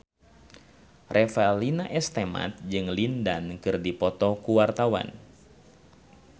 Revalina S. Temat jeung Lin Dan keur dipoto ku wartawan